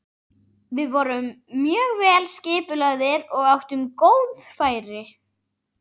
Við vorum mjög vel skipulagðir og áttum góð færi.